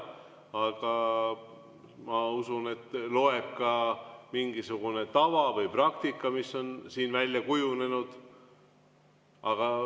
Aga ma usun, et loeb ka mingisugune tava või praktika, mis on siin välja kujunenud.